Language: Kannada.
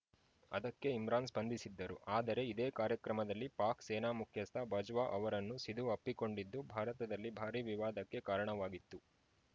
ಅದಕ್ಕೆ ಇಮ್ರಾನ್‌ ಸ್ಪಂದಿಸಿದ್ದರು ಆದರೆ ಇದೇ ಕಾರ್ಯಕ್ರಮದಲ್ಲಿ ಪಾಕ್‌ ಸೇನಾ ಮುಖ್ಯಸ್ಥ ಬಜ್ವಾ ಅವರನ್ನು ಸಿಧು ಅಪ್ಪಿಕೊಂಡಿದ್ದು ಭಾರತದಲ್ಲಿ ಭಾರೀ ವಿವಾದಕ್ಕೆ ಕಾರಣವಾಗಿತ್ತು